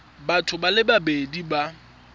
batho ba le babedi ba